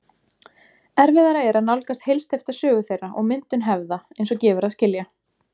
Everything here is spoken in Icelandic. Erfiðara er að nálgast heilsteypta sögu þeirra og myndun hefða, eins og gefur að skilja.